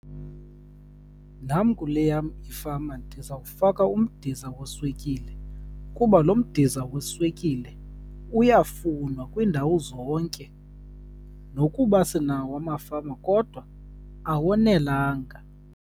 Nam kule yam ifama ndizawufaka umdiza weswekile, kuba lo mdiza weswekile uyafunwa kwiindawo zonke. Nokuba sinawo amafama kodwa awonelanga.